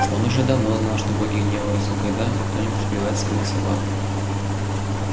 он уже давно знал что боги гневаются когда кто-нибудь убивает своих собак